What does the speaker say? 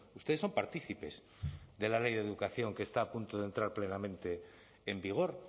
ustedes son partícipes de la ley de educación que está a punto de entrar plenamente en vigor